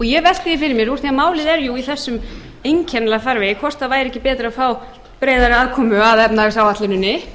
ég velti því fyrir mér úr því að málið er jú í þessum einkennilega farvegi hvort væri ekki betra að frá breiðari aðkomu að efnahagsáætluninni þar sem